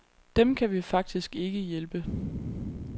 Dem kan vi faktisk ikke hjælpe.